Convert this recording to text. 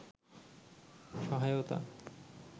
সহায়তা